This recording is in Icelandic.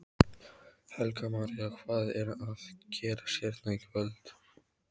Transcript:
Helga María: Hvað er að gerast hérna í kvöld?